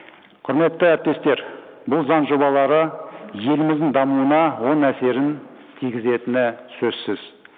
құрметті әріптестер бұл заң жобалары еліміздің дамуына оң әсерін тигізетіні сөзсіз